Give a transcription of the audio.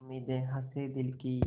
उम्मीदें हसें दिल की